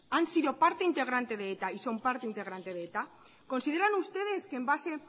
han sido parte integrante de eta y son parte integrante de eta consideran ustedes que en base